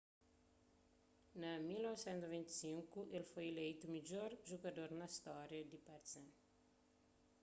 na 1995 el foi ileitu midjor jugador na stória di partizan